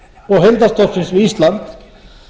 og heildarstofnsins við ísland